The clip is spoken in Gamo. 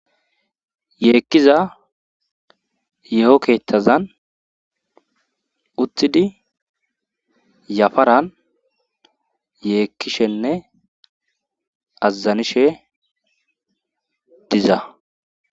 Yeekkiza ye7okethazan utthidi yafaran yeekkishenne azazanishe diza